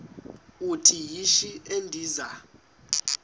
uthi yishi endiza